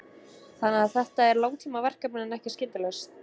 Þórhallur: Þannig að þetta er langtímaverkefni en ekki skyndilausn?